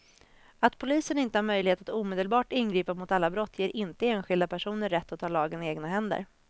Att polisen inte har möjlighet att omedelbart ingripa mot alla brott ger inte enskilda personer rätt att ta lagen i egna händer.